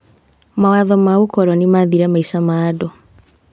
Mawatho ma ũkoroni mathire maica ma andũ.